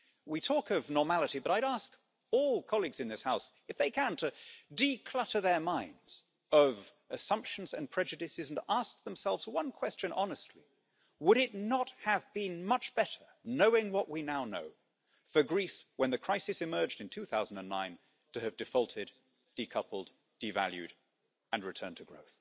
We talk of normality, but I would ask all colleagues in this House if they can't declutter their minds of assumptions and prejudices and ask themselves one question honestly would it not have been much better, knowing what we now know for Greece, when the crisis emerged in 2009 to have defaulted, decoupled, devalued and returned to growth?